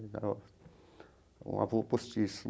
Era um avô postiço.